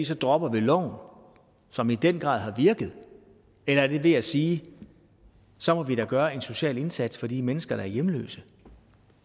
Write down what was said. så dropper vi loven som i den grad har virket eller er det ved at sige så må vi da gøre en social indsats for de mennesker der er hjemløse